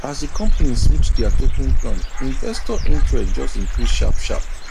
as the company switch their token plan investor interest just increase sharp sharp